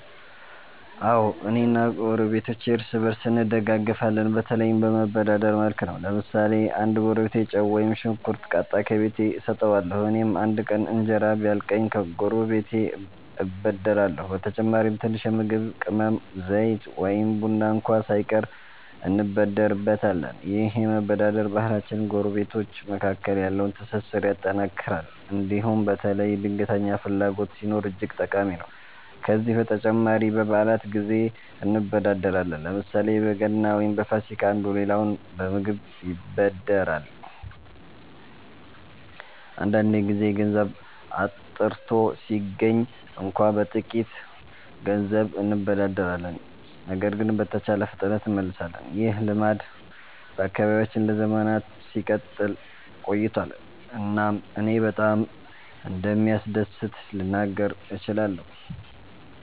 አዎ፣ እኔ እና ጎረቤቶቼ እርስ በእርስ እንደጋፈፋለን፤ በተለይም በመበዳደር መልክ ነው። ለምሳሌ አንድ ጎረቤቴ ጨው ወይም ሽንኩርት ካጣ፣ ከቤቴ እሰጠዋለሁ። እኔም አንድ ቀን እንጀራ ቢያልቅኝ ከጎረቤቴ እበደርሃለሁ። በተጨማሪም ትንሽ የምግብ ቅመም፣ ዘይት ወይም ቡና እንኳ ሳይቀር እንበደርበታለን። ይህ የመበዳደር ባህላችን ጎረቤቶች መካከል ያለውን ትስስር ያጠናክራል እንዲሁም በተለይ ድንገተኛ ፍላጎት ሲኖር እጅግ ጠቃሚ ነው። ከዚህ በተጨማሪ በበዓላት ጊዜ እንበዳደራለን፤ ለምሳሌ በገና ወይም በፋሲካ አንዱ ሌላውን በምግብ ይበድራል። አንዳንድ ጊዜ ገንዘብ አጥርቶ ሲገኝ እንኳ በጥቂት ገንዘብ እንበዳደራለን ነገር ግን በተቻለ ፍጥነት እንመልሳለን። ይህ ልማድ በአካባቢያችን ለዘመናት ሲቀጥል ቆይቷል እናም እኔ በጣም እንደሚያስደስት ልናገር እችላለሁ።